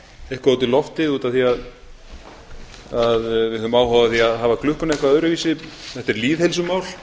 eitthvað út í loftið út af því að við höfum áhuga á því að hafa klukkuna eitthvað öðruvísi þetta er lýðheilsumál